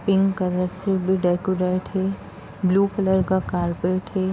Pink colour से भी decorate है। ब्लू कलर का कारपेट है।